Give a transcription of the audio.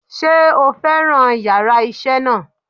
Sé o fẹ́ràn yàrá isé náà